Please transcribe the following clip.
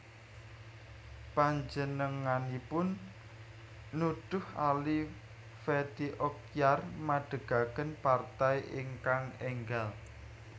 Panjenenganipun nudhuh Ali Fethi Okyar madegaken partai ingkang énggal